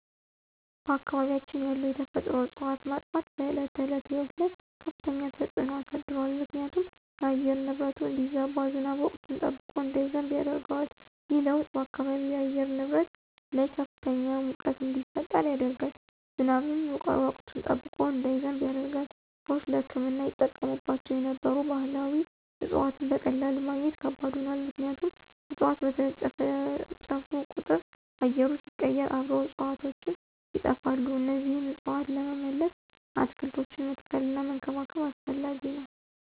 በአካባቢያችን ያሉ የተፈጥሮ እፅዋት መጥፋት በዕለት ተዕለት ሕይወት ላይ ከፍተኛ ተጽዕኖ አሳድሯል ምክንያቱም የአየር ንብረቱ እንዲዛባ፣ ዝናብ ወቅቱን ጠብቆ እንዳይዘንብ ያደርገዋል። ይህ ለውጥ በአካባቢው የአየር ንብረት ላይ ከፍተኛ ሙቀት እንዲፈጠር ያደርጋል፣ ዝናብም ወቅቱን ጠብቆ እንዳይዘንብ ያደርጋል። ሰዎች ለሕክምና ይጠቀሙባቸው የነበሩ ባህላዊ እፅዋትን በቀላሉ ማግኘት ከባድ ሆኗል ምክንያቱም እፅዋት በተጨፈጨፉ ቁጥር አየሩ ሲቀየር አብረው እፅዋቱም ይጠፋሉ እነዚህን እፅዋት ለመመለስ አትክልቶችን መትከልና መንከባከብ አስፈላጊ ነው።